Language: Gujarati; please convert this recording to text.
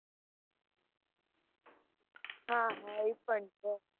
હાં હાં એ પણ છે.